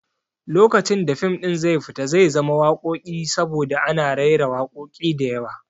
Lokacin da fim ɗin zai fita zai zama wakoki saboda ana raira wakoki diyawa